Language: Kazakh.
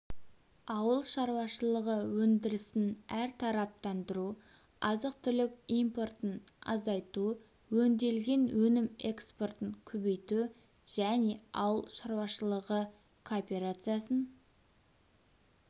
ауыл шаруашылығы өндірісін әртараптандыру азық-түлік импортын азайту өңделген өнім экспортын көбейту және ауыл шаруашылығы кооперациясын